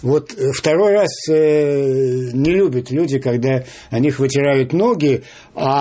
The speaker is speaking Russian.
вот второй раз не любят люди когда о них вытирают ноги